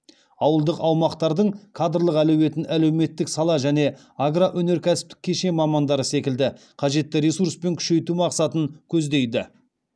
ауылдық аумақтардың кадрлық әлеуетін әлеуметтік сала және агроөнеркәсіптік кешен мамандары секілді қажетті ресурспен күшейту мақсатын көздейді